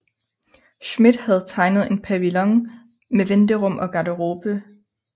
Schmidt havde tegnet en pavillon med venterum og garderobe